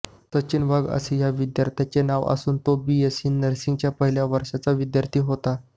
सचिन वाघ असं या विद्यार्थ्याचं नाव असून तो बीएससी नर्सिंगच्या पहिल्या वर्षाचा विद्यार्थी होता